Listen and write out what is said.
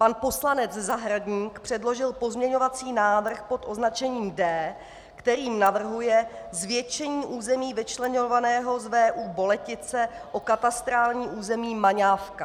Pan poslanec Zahradník předložil pozměňovací návrh pod označením D, který navrhuje zvětšení území vyčleňovaného z VÚ Boletice o katastrální území Maňávka.